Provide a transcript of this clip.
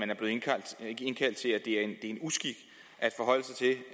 er en uskik